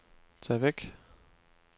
tag væk